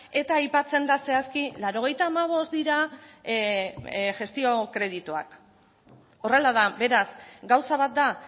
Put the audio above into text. eta aipatzen da zehazki laurogeita hamabost dira gestio kredituak horrela da beraz gauza bat da